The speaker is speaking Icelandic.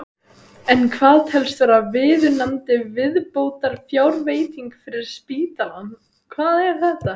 En hvað telst vera viðunandi viðbótarfjárveiting fyrir spítalann?